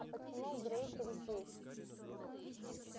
а почему грэйсик здесь